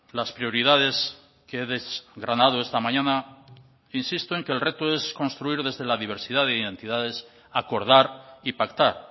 las prioridades que he desgranado esta mañana insisto en que el reto es construir desde la diversidad de identidades acordar y pactar